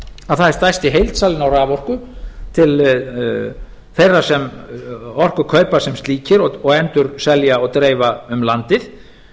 að það er stærsti heildsalinn á raforku til þeirra sem orku kaupa sem slíkir og endurselja og dreifa um landið